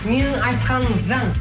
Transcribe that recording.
менің айтқаным заң